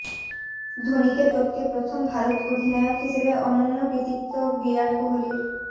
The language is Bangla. ধোনিকে টপকে প্রথম ভারত অধিনায়ক হিসাবে অনন্য় কৃতিত্ব বিরাট কোহলির